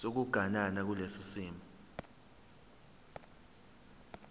sokuganana kulesi simo